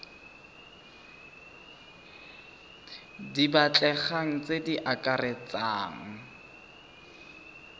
di batlegang tse di akaretsang